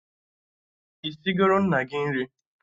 Isigoro nna gị nri?